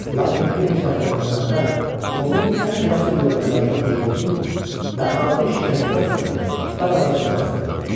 Lakin bir neçə həftə bundan əvvəl onun ən cəsur yoldaşlarından birini tutub və ağır işgəncədən sonra dar ağacından asdırıb.